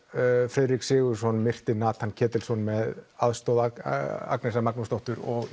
Friðrik Sigurðsson myrti Natan Ketilsson með aðstoð Agnesar Magnúsdóttur og